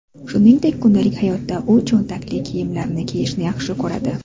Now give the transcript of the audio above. Shuningdek, kundalik hayotda u cho‘ntakli kiyimlarni kiyishni yaxshi ko‘radi.